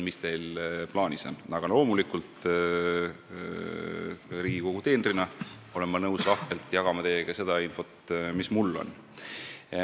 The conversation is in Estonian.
Aga Riigikogu teenrina olen ma loomulikult nõus lahkelt jagama teiega seda infot, mis mul on.